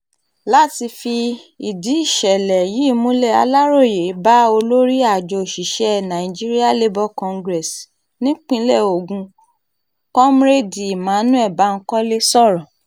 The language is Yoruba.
láti fìdí ìṣẹ̀lẹ̀ yìí múlẹ̀ aláròye bá olórí àjọ òṣìṣẹ́ nigeria labour congress nípínlẹ̀ ogun komúrẹ́ẹ̀dì emmanuel bankole sọ̀rọ̀